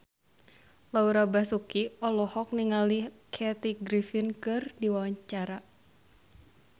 Laura Basuki olohok ningali Kathy Griffin keur diwawancara